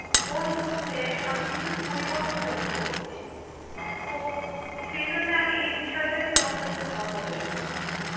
ওর মধ্যে আমি কিছু পরিবর্তন লক্ষ্য করছি। তো সেজন্য আমি এই বিষয়টা নিয়ে তোমার সাথে একটু কথা বলতে চাই।